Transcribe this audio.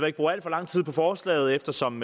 ikke bruge al for lang tid på forslaget eftersom